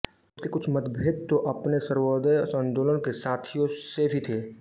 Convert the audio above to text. उनके कुछ मतभेद तो अपने सर्वोदय आंदोलन के साथियों से भी थे